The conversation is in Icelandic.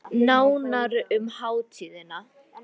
Nánar um hátíðina